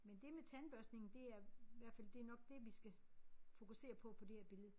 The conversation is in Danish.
Men det med tandbørstningen det er hvert fald det nok det vi skal fokusere på på det her billede